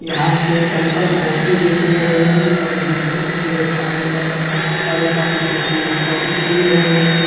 यहाँ पे एक अंकल कॉफी बेच रहे हैं और बिस्कुट भी है खाने वाला और एक आदमी देखिए कॉफी पी रहे हैं।